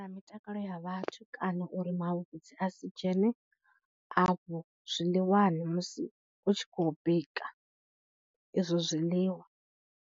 Mitakalo ya vhathu kana uri mavhudzi a si dzhene afho zwiḽiwani musi hu tshi khou bika izwo zwiḽiwa.